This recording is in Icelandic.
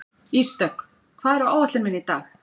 Ísdögg, hvað er á áætluninni minni í dag?